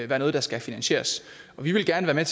være noget der skal finansieres og vi vil gerne